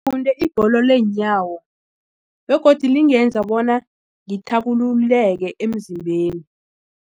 Ngifunde ibholo leenyawo begodu lingenza bona ngithabululeke emzimbeni.